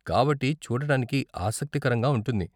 కాబట్టి, చూడటానికి ఆసక్తికరంగా ఉంటుంది.